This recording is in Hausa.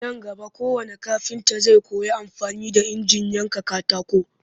Nan gaba kowannn kafinta zai koyi amfani da injinan yankan katako